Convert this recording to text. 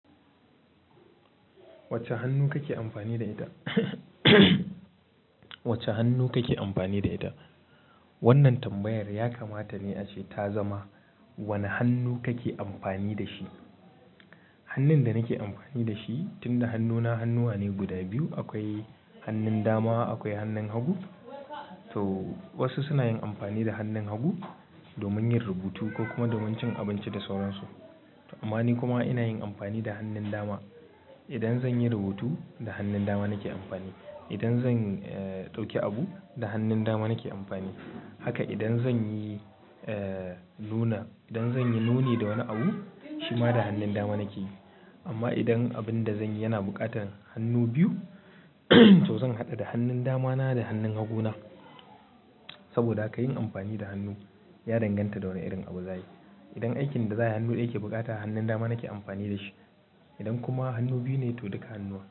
Wacce hannu kake amfani da ita? Wacce hannu kake amfani da ita? Wannan tambayar yakamata ne ashe ta zama wanne hannu kake amfani da shi. Hannun da nake amfani da shi, tunda hannuna hannuwa ne guda biyu, akwai hannun dama akwai hannun hagu. To wasu suna yin amfani da hannun hagu domin yin rubutu ko kuma domin cin abinci da sauransu. Amma ni kuma ina yin amfani da hannun dama. Idan zan yi rubutu, da hannun dama nake amfani. Idan zan, eh, ɗauki abu, da hannun dama nake amfani. Haka idan zan yi, eh, nuna, idan zan yi nuni da wani abu, shima da hannun dama nake yi. Amma idan abin da zan yi yana buƙatar hannu biyu, to zan haɗu da hannun damana da hannun haguna. Saboda ka yin amfani da hannu ya danganta da wane irin abu za ai. Idan aikin da za a yi hannu ɗaya ke buƙata, hannun dama nake amfani da shi. Idan kuma hannu biyu ne to duka hannuwa.